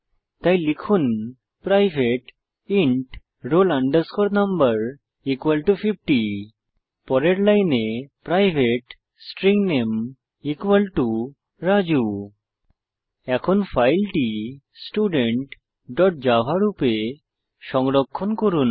তাই লিখুন private int roll no50 পরের লাইনে প্রাইভেট স্ট্রিং নামে Raju এখন ফাইলটি studentজাভা রূপে সংরক্ষণ করুন